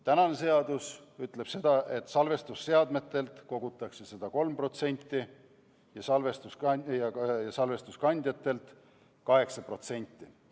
Praegune seadus ütleb seda, et salvestusseadmetelt kogutakse seda 3% ja salvestuskandjatelt 8%.